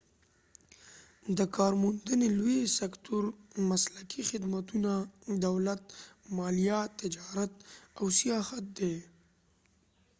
د کارموندنې لوی سکتور مسلکي خدمتونه دولت مالیه تجارت او سیاحت دي